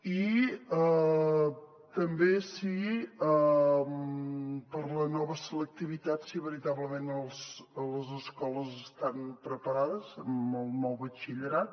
i també si per a la nova selectivitat veritablement les escoles estan preparades amb el nou batxillerat